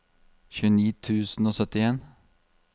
tjueni tusen og syttien